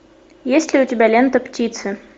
есть ли у тебя лента птицы